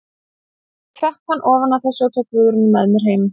Ég fékk hann ofan af þessu og tók Guðrúnu með mér heim.